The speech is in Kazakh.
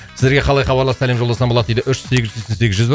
сіздерге қалай хабарласып сәлем жолдасам болады дейді үш сегіз жүз сексен сегіз жүз бір